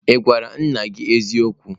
Ị gwara nna gị eziokwu?